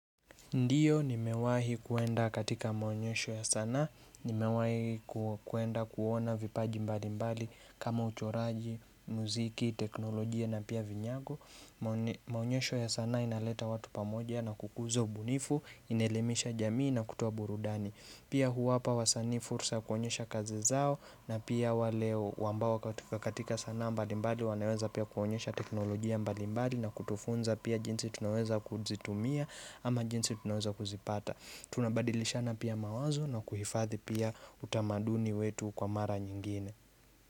Ndiyo, nimewahi kuenda katika maonyesho ya sanaa, nimewahi kuenda kuona vipaji mbalimbali kama uchoraji, muziki, teknolojia na pia vinyago. Maonyesho ya sanaa inaleta watu pamoja na kukuza ubunifu, inaelimisha jamii na kutoa burudani. Pia huwapa wasanii fursa ya kuonyesha kazi zao na pia wale ambao katika sanaa mbalimbali wanaweza pia kuonyesha teknolojia mbalimbali na kutufunza pia jinsi tunaweza kuzitumia ama jinsi tunaweza kuzipata Tunabadilishana pia mawazo na kuhifadhi pia utamaduni wetu kwa mara nyingine.